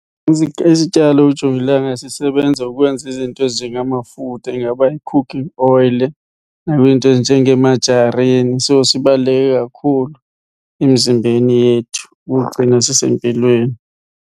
Isityalo uJongilanga sisebenza ukwenza izinto ezinjengamafutha, ingaba yi-cooking oyile nakwiinto ezinjengee-margarine so sibaluleke kakhulu emzimbeni yethu ugcina sisempilweni.